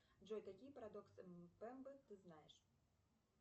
джой какие парадоксы мпембы ты знаешь